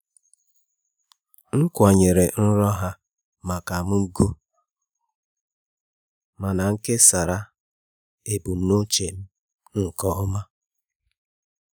M kwanyere nrọ ha maka m ùgwù mana m kesara ebumnuche m nke ọma.